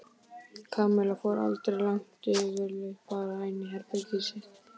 Kamilla fór aldrei langt yfirleitt bara inn í herbergið sitt.